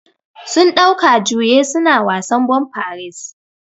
Sun ɗauka juye su na wasan bumper race.